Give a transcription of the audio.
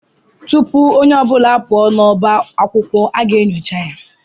Tụpụ ọnye ọbula apuo n'ọbá akwụkwọ aga enyocha ya